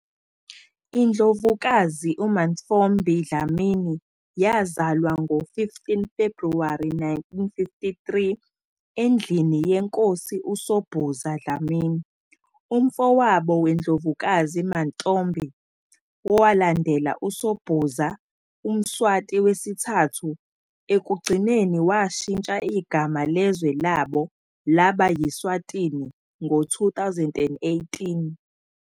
INdlovukazi uMantfombi Dlamini yazalwa ngo-15 February 1953 endlini yeNkosi uSobhuza Dlamini. Umfowabo weNdlovukazi Mantfombi, owalandela uSobhuza UMswati III, ekugcineni washintsha igama lezwe labo laba yi-Swatini ngo-2018.